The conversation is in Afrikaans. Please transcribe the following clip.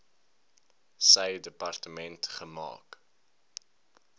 sy departement gemaak